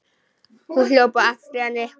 Hún hljóp á eftir henni.